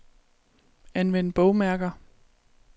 Anvend bogmærker.